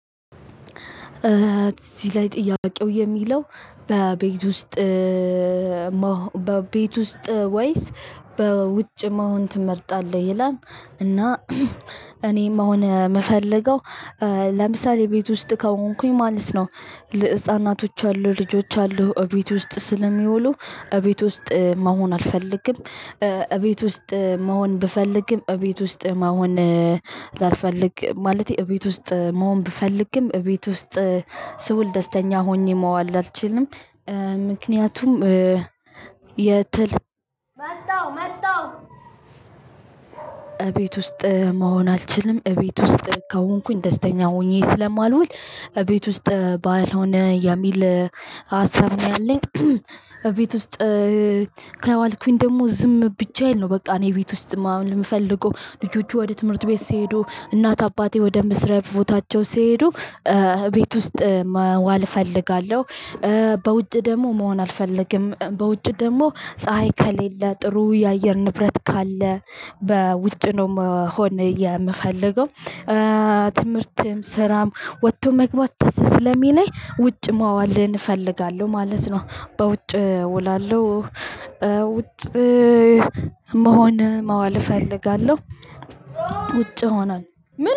እዚህ ላይ ጥያቄው የሚለው በቤት ውስጥ በቤት ውስጥ ወይስ በውጭ መሆን ትመርጣለህ? ይላል እና እኔም አሁን የምፈልገው ለምሳሌ ቤት ውስጥ ከሆንኩኝ ማለት ነው። ህፃናቶች አሉ ልጆች አሉ እቤት ውስጥ ስለሚውሉ እቤት ውስጥ መሆን አልፈልግም እቤት ውስጥ መሆን ብፈልግም እቤት ውስጥ መሆን ላልፈልግ ማለቴ እቤት ውስጥ መሆን ብፈልግም እቤት ውስጥ ስውል ደስተኛ ሆኘ መዋል አልችልም። ምክንያቱም የትል መጣው መጣው። እቤት ውስጥ መሆን አልችልም እቤት ውስጥ ከሆንኩኝ ደስተኛ ሆኜ ስለማልውል እቤት ውስጥ ባልሆነ የሚል ሀሳብ ነው ያለኝ። ቤት ውስጥ ከዋልኩኝ ደግሞ ዝም ብቻየን ነው በቃ እኔ ቤት ውስጥ ማምለኝ የምፈልገው ልጆቹ ወደ ትምህርት ቤት ሲሄዱ እናት አባቴ ወደ ምስረብ ቦታቸው ሲሄዱ ቤት ውስጥ መዋል እፈልጋለሁ። በውጭ ደግሞ መሆን አልፈልግም በውጭ ደግሞ ፀሀይ ከሌለ ጥሩ የአየር ንብረት ካለ በውጭ ነው መሆን የምፈልገው። ትምህርትም ስራም ወጥቶ መግባት ደስ ስለሚለኝ ውጭ ማዋልህን እፈልጋለሁ ማለት ነው በውጭ እውላለሁ። ውጭ መሆን ማዋል እፈልጋለሁ። ውጭ ሆኗል።